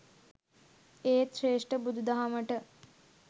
ඒත් ශ්‍රේෂ්ඨ බුදු දහමට